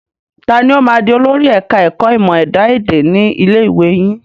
Ta ni ó máa di olórí ẹ̀ka ẹ̀kọ́ ìmọ̀ ẹ̀dá èdè ni ilé ìwé yín?